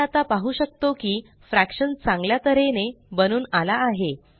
आपण आता पाहु शकतो की फ्रॅक्शन चांगल्या तऱ्हेने बनून आला आहे